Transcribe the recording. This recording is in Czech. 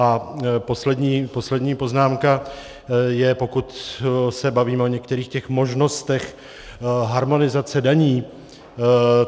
A poslední poznámka je, pokud se bavíme o některých těch možnostech harmonizace daní.